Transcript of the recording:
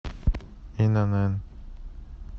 инн